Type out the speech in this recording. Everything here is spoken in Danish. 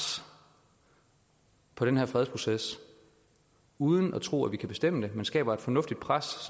på den her fredsproces uden at tro at vi kan bestemme den men skaber et fornuftigt pres